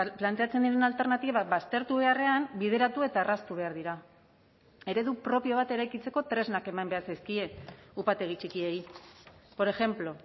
planteatzen diren alternatibak baztertu beharrean bideratu eta erraztu behar dira eredu propio bat eraikitzeko tresnak eman behar zaizkie upategi txikiei por ejemplo